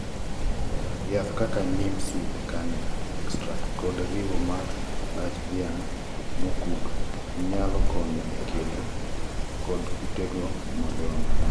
yath kaka neem seed karnel extract kod riwo mar lach dhiang mokuk nyalo konyo e kedo kodkutego madongo.